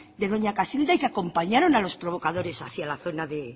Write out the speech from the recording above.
de doña casilda y que acompañaron a los provocadores hacia la zona de